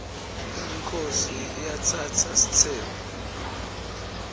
inkhosi iatsatsa sitsembu